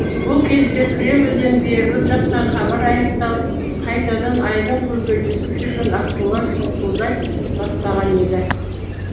бұл кезде кремльден беріліп жатқан хабар аяқталып қайтадан айдын көлде жүзіп жүрген аққулар сұңқылдай бастаған еді